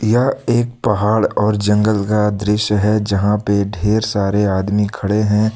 यह एक पहाड़ और जंगल का दृश्य है जहां पे ढेर सारे आदमी खड़े हैं।